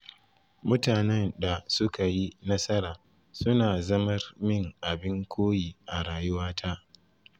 Mutanen da sukayi nasara suna zamar min abin koyi a rayuwata.